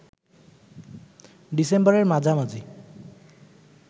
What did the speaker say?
ডিসেম্বরের মাঝামাঝি